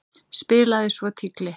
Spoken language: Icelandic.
Spilaði svo tígli.